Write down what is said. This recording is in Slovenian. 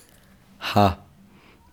Ha!